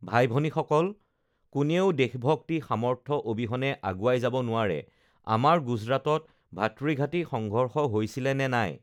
ভাই ভনীসকল, কোনেও দেশভক্তি, সামৰ্থ্য অবিহনে আগুৱাই যাব নোৱাৰে, আমাৰ গুজৰাটত ভাতৃঘাটি সংঘৰ্ষ হৈছিলে নে নাই?